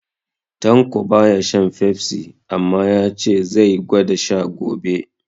Tanko baya shan Fefsi, amma ya ce ya zai gwada sha gobe